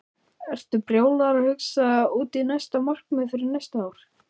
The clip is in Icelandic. Ertu byrjaður að hugsa út í markmið fyrir næsta ár?